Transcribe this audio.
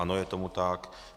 Ano, je tomu tak.